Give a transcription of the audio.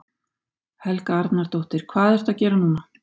Helga Arnardóttir: Hvað ertu að gera núna?